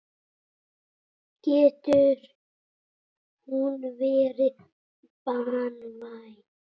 Getur hún verið banvæn.